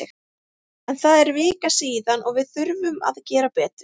En það er vika síðan og við þurfum að gera betur.